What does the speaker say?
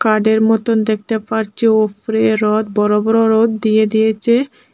ছাদের মতন দেখতে পারছি ওফরে রদ বড় বড় রদ দিয়ে দিয়েচে।